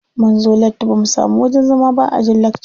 Munzo latti bamu samu wajen zama ba a ajin lakca.